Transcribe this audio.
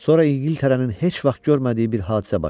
Sonra İngiltərənin heç vaxt görmədiyi bir hadisə başladı.